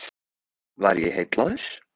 Var ég heillaður?